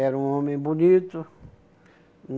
Era um homem bonito.